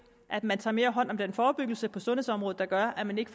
at man tager hånd om den forebyggelse på sundhedsområdet der gør at man ikke